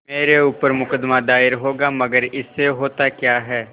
मेरे ऊपर मुकदमा दायर होगा मगर इससे होता क्या है